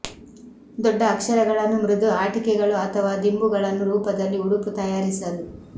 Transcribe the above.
ದೊಡ್ಡ ಅಕ್ಷರಗಳನ್ನು ಮೃದು ಆಟಿಕೆಗಳು ಅಥವಾ ದಿಂಬುಗಳನ್ನು ರೂಪದಲ್ಲಿ ಉಡುಪು ತಯಾರಿಸಲು